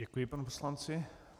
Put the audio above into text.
Děkuji panu poslanci.